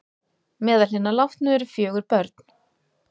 Meðal hinna látnu eru fjögur börn